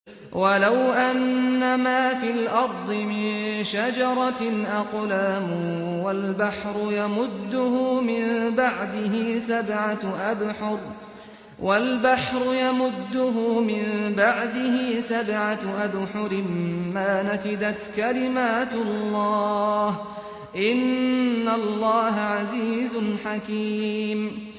وَلَوْ أَنَّمَا فِي الْأَرْضِ مِن شَجَرَةٍ أَقْلَامٌ وَالْبَحْرُ يَمُدُّهُ مِن بَعْدِهِ سَبْعَةُ أَبْحُرٍ مَّا نَفِدَتْ كَلِمَاتُ اللَّهِ ۗ إِنَّ اللَّهَ عَزِيزٌ حَكِيمٌ